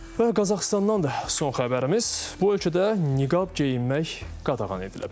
Və Qazaxıstandan da son xəbərimiz bu ölkədə niqab geyinmək qadağan edilib.